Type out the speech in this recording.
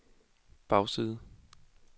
bagside